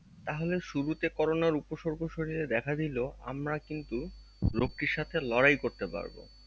তাহলে শুরুতে করোনার উপস্বর্গ শরীরে দেখা দিলেও আমরা কিন্তু রোগটির সাথে লড়াই করতে পারবো